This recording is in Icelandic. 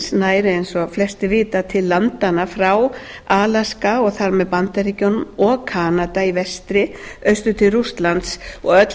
norðurskautsráðsins nær eins og flestir vita til landanna frá alaska og þar með bandaríkjunum og halda í vestri austur til rússlands og öll